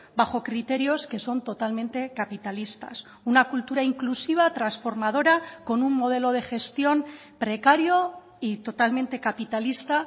bajo criterios que son totalmente capitalistas una cultura inclusiva transformadora con un modelo de gestión precario y totalmente capitalista